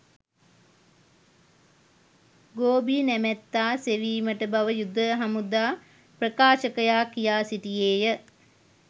ගෝබි නැමැත්තා සෙවීමට බව යුද හමුදා ප්‍රකාශකයා කියා සිටියේය